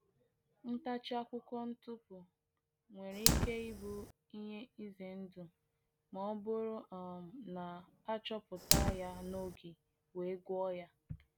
Ntachi akwụkwọ ntụpụ nwere ike ịbụ ihe ize ndụ ma ọ bụrụ um na a achọpụta ya n’oge we’ gwo ya